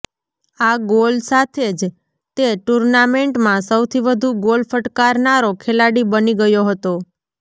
આ ગોલ સાથે જ તે ટૂર્નામેન્ટમાં સૌથી વધુ ગોલ ફટકારનારો ખેલાડી બની ગયો હતો